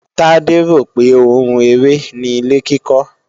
Tade rò pé oun eré ni ilé-kíkọ́